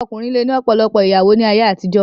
Ọkùnrin lè ní ọ̀pọ̀lọpọ̀ ìyàwó ní ayé àtijó.